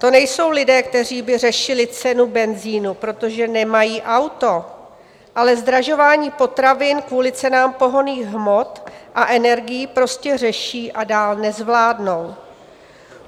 To nejsou lidé, kteří by řešili cenu benzinu, protože nemají auto, ale zdražování potravin kvůli cenám pohonných hmot a energií prostě řeší a dál nezvládnou.